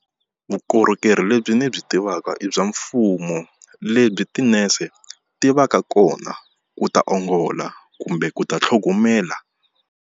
Vukorhokeri lebyi ndzi byi tivaka i bya mfumo lebyi tinese tivaka kona ku ta ongola kumbe ku ta tlhogomela.